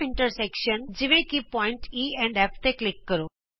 E ਅਤੇ F ਦੇ ਰੂਪ ਵਿਚ ਕੱਟਵੇਂ ਬਿੰਦੂਆਂ ਤੇ ਕਲਿਕ ਕਰੋ